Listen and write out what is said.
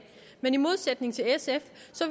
men i modsætning til sf